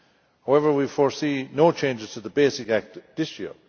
However, we foresee no changes to the basic act this year.